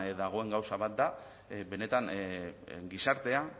dagoen gauza bat da benetan gizartea